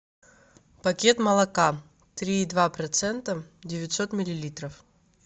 пакет молока три и два процента девятьсот миллилитров